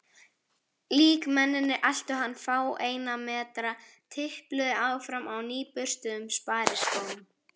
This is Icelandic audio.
Líkmennirnir eltu hann fáeina metra, tipluðu áfram á nýburstuðum spariskóm.